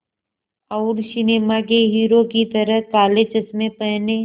और सिनेमा के हीरो की तरह काले चश्मे पहने